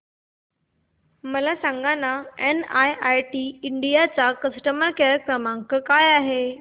मला सांगाना NIIT India चा कस्टमर केअर क्रमांक काय आहे